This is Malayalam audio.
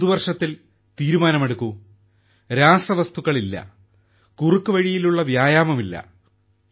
ഈ പുതുവർഷത്തിൽ തീരുമാനമെടുക്കൂ രാസവസ്തുക്കൾ ഇല്ല കുറുക്കുവഴിയിലുള്ള വ്യായാമം ഇല്ല